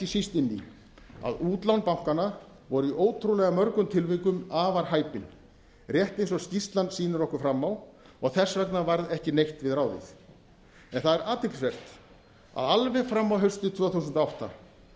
síst inn í að útlán bankanna voru í ótrúlega mörgum tilvikum afar hæpin rétt eins og skýrslan sýnir okkur fram á og þess vegna varð ekki neitt við ráðið en það er athyglisvert að alveg fram á haustið tvö þúsund og átta